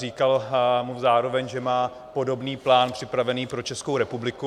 Říkal mu zároveň, že má podobný plán připravený pro Českou republiku.